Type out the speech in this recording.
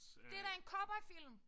Det da en cowboyfilm!